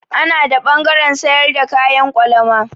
Ana da ɓangaren sayar da kayan kwalama.